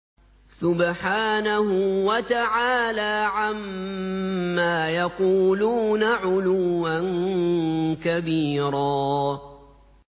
سُبْحَانَهُ وَتَعَالَىٰ عَمَّا يَقُولُونَ عُلُوًّا كَبِيرًا